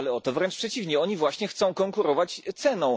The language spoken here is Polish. Wręcz przeciwnie oni właśnie chcą konkurować ceną.